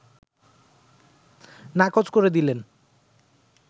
নাকচ করে দিলেন